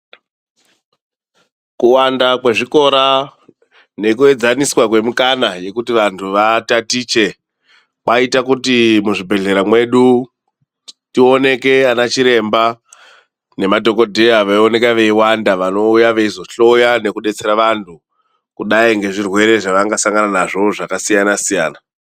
Kuwanda kwezvikora nekuedzaniswa kwemikana yekuti vantu vatatiche kwaita kuti muzvibhedhlera mwedu tioneke ana chiremba nemadhokodheya veioneka veiwanda vanouya kuzohloya nekudetsera vantu kudai ngezvirwere zvavangasangana nazvo zvakasiyana- siyana.